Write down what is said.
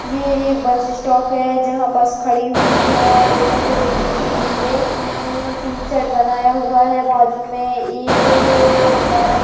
ये एक bus stop है जहाँ बस खड़ी हुई है लोगों को रुकने के लिए म-म-म तिन शेड बनाया हुआ है बाजु में एक-क-क इमारत --